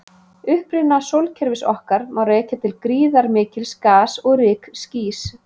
Uppruna sólkerfis okkar má rekja til gríðarmikils gas- og rykskýs.